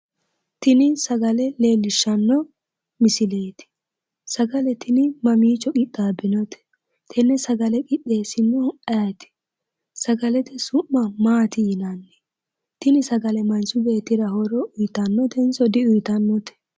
Tini sagale leellishshanno misileeti. Sagale tini mamiicho qixxaabbinote? Tenne sagale qixxeessinohu ayeeti? Sagalete su'ma maati yinanni? Tini sagale manchi beettira horo uyitannitenso di uyitannote?